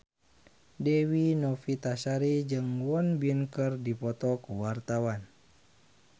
Dewi Novitasari jeung Won Bin keur dipoto ku wartawan